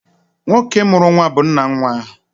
Nwoke mụrụ nnwa bu nna nnwa ahụ.